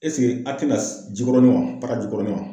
Ɛsike a' tɛna Jikɔrɔni wa Para Jikɔrɔni wa?